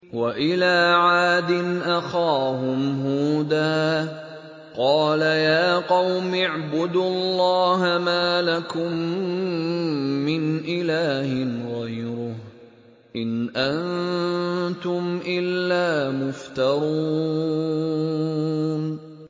وَإِلَىٰ عَادٍ أَخَاهُمْ هُودًا ۚ قَالَ يَا قَوْمِ اعْبُدُوا اللَّهَ مَا لَكُم مِّنْ إِلَٰهٍ غَيْرُهُ ۖ إِنْ أَنتُمْ إِلَّا مُفْتَرُونَ